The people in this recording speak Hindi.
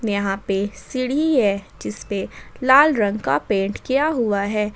यहां पे सीढ़ी है जिस पे लाल रंग का पेंट किया हुआ है।